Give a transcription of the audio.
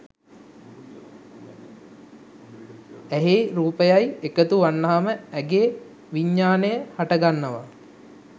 ඇහැයි රූපයයි එකතු වුනහම ඇහේ විඤ්ඤාණය හටගන්නවා